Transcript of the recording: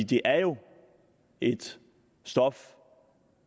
det er jo et stof